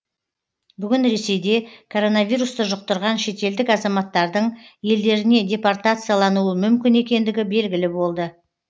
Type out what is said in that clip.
бүгін ресейде коронавирусты жұқтырған шетелдік азаматтардың елдеріне депортациялануы мүмкін екендігі белгілі болды